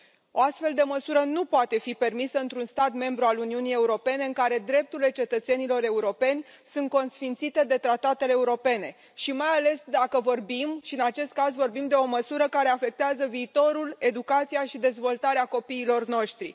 O astfel de măsură nu poate fi permisă într un stat membru al Uniunii Europene, în care drepturile cetățenilor europeni sunt consfințite de tratatele europene și, mai ales, dacă vorbim și în acest caz vorbim de o măsură care afectează viitorul, educația și dezvoltarea copiilor noștri.